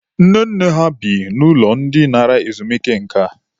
Nne nne ha bi n'ụlọ ndị nara ezumike nka.